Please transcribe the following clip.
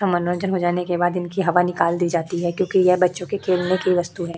मनोरंजन हो जाने के बाद इनकी हवा निकाल दी जाती है क्यूंकि ये बच्चो के खेलने की वस्तू है।